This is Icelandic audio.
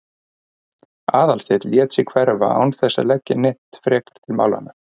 Aðalsteinn lét sig hverfa án þess að leggja neitt frekar til málanna.